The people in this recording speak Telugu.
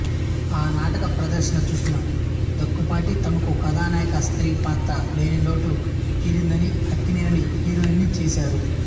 ఆ నాటక ప్రదర్శన చూసిన దుక్కిపాటి తమకు కథానాయికస్త్రీ పాత్ర లేని లోటు తీరిందని అక్కినేనిని హీరోయిన్ని చేశారు